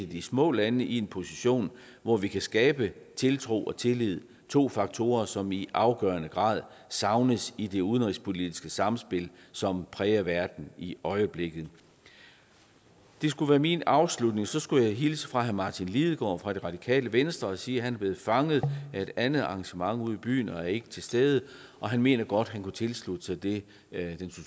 de små lande i en position hvor vi kan skabe tiltro og tillid det to faktorer som i afgørende grad savnes i det udenrigspolitiske samspil som præger verden i øjeblikket det skulle være min afslutning så skulle jeg hilse fra herre martin lidegaard fra radikale venstre og sige at han er blevet fanget af et andet arrangement ude i byen og ikke er til stede han mener godt han kunne tilslutte sig det